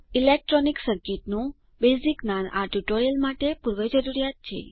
electronic સર્કિટનું basic જ્ઞાન આ ટ્યુટોરીયલ માટે પૂર્વજરૂરિયાત છે